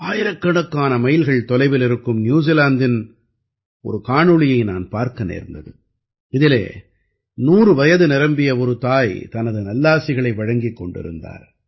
ஆயிரக்கணக்கான மைல்கள் தொலைவில் இருக்கும் நியூசிலாந்தின் ஒரு காணொளியை நான் பார்க்க நேர்ந்தது இதிலே 100 வயது நிரம்பிய ஒரு தாய் தனது நல்லாசிகளை வழங்கிக் கொண்டிருந்தார்